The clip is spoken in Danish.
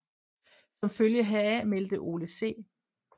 Som følge heraf meldte Ole C